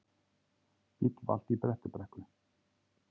Bíll valt í Bröttubrekku